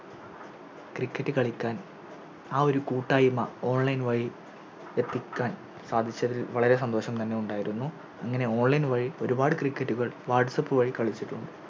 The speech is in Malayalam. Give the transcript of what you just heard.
Cricket കളിക്കാൻ ആ ഒരു കൂട്ടായ്മ Online വഴി എത്തിക്കാൻ സാധിച്ചതിൽ വളരെ സന്തോഷം തന്നെ ഉണ്ടായിരുന്നു ഇങ്ങനെ Online വഴി ഒരുപാട് Cricket കൾ Whatsapp വഴി കളിച്ചിട്ടുമുണ്ട്